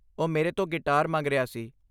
ਉਹ ਮੇਰੇ ਤੋਂ ਗਿਟਾਰ ਮੰਗ ਰਿਹਾ ਸੀ।